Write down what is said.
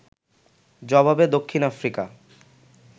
জবাবে দক্ষিণ আফ্রিকা